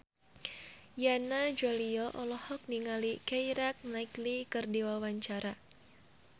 Yana Julio olohok ningali Keira Knightley keur diwawancara